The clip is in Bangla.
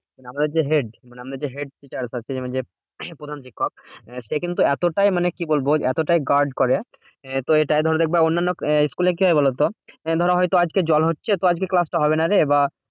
আমাদের যে head আমাদের যে head teachers আছে মানে যে প্রধান শিক্ষক সে কিন্তু এতটাই মানে কি বলবো? এতটাই guard করে, এ তো এটা ধরো দেখবে অন্যান্য school এ কি হয় বলতো? ধরো হয়তো আজকে জল হচ্ছে তো আজকে class টা হবে না রে। বা